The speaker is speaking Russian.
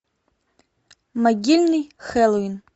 могильный хэллоуин